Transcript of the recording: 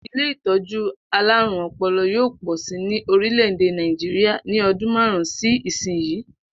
Ilé ìtó̩jú alárùn o̩po̩lo̩ yóò pò̩ si ni orílè̩-èdè Nàìjíríà ní o̩dún márù-ún sí ìsinyìí